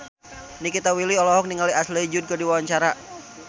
Nikita Willy olohok ningali Ashley Judd keur diwawancara